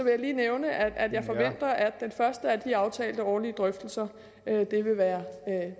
jeg lige nævne at jeg forventer at den første af de aftalte årlige drøftelser vil være